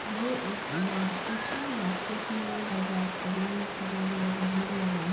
ये एक मार्केट है। मार्केट में बाजार करने के लिए लोग भीड़ लगाए --